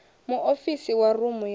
muofisi wa rumu ya u